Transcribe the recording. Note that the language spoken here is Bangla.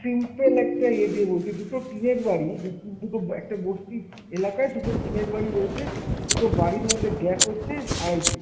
simple একটা ইয়ে দিয়ে বলছি, দুটো টিনের বাড়ি, দু~ দুটো একটা বস্তির এলাকায় দুটো টিনের বাড়ি রয়েছে, দুটো বাড়ির মধ্যে gape হচ্ছে আড়াই ফুট।